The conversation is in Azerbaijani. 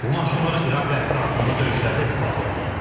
Bu maşınlar İraq və Əfqanıstanda döyüşlərdə istifadə olunub.